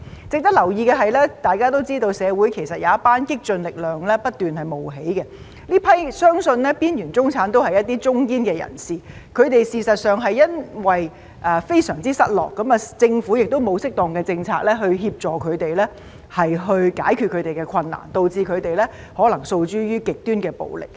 值得留意的是，大家都知道社會有一股激進力量不斷冒起，這批邊緣中產相信都是中堅人士，他們事實上是因為非常失落，而政府亦沒有適當的政策協助他們，解決他們的困難，導致他們可能訴諸極端的暴力。